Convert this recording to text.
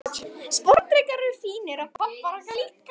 Sporðdrekar eru fínir, og pabbar okkar líka.